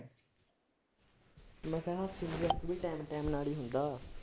ਮੈਂ ਕਿਹਾ ਹੱਸੀ ਮਜ਼ਾਕ ਵੀ time time ਨਾਲ ਹੀ ਹੁੰਦਾ।